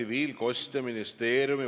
Nii et kasutan kindlasti oma sõna.